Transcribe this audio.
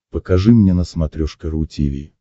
покажи мне на смотрешке ру ти ви